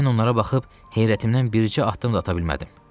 Mən onlara baxıb heyrətimdən bircə addım da ata bilmədim.